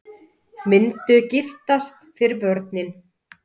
Myndu giftast fyrir börnin